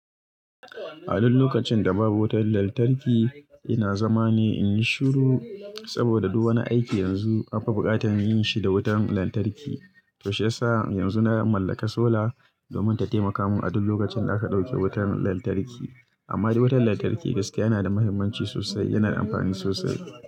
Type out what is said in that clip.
A duk lokacin da babu wutar lantarki, ina zama ne in yi shiru saboda duk wani aiki yanzu an fi buƙatar yin shi da wutar lantarki. To shiya sa yanzu na mallaka sola domin ta taimaka mun a duk lokacin da aka dauke wutar lantarki. Amma dai wutar lantarki gaskiya yana da muhimmanci sosai, yana da amfani sosai.